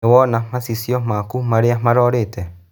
Nĩwaona macicio maku maria marorĩte